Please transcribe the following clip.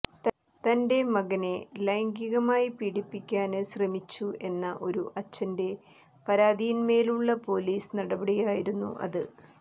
തന്റെ മകനെ ലൈംഗികമായി പീഡിപ്പിക്കാന് ശ്രമിച്ചു എന്ന ഒരു അച്ഛന്റെ പരാതിയിന്മേലുള്ള പോലീസ് നടപടിയായിരുന്നു അത്